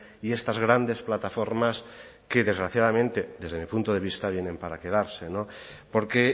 y estas grandes plataformas que desgraciadamente desde mi punto de vista vienen para quedarse no porque